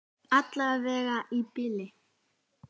Allavega í bili.